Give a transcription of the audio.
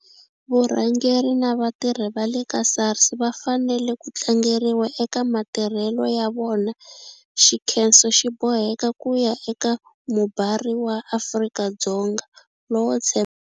Vurhangeri na vatirhi va le ka SARS va fanele ku tlangeriwa eka matirhelo ya yona. Xinkhenso xi boheka ku ya eka mubari wa Afrika-Dzonga lowo.